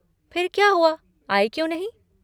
फिर क्या हुआ, आई क्यों नहीं?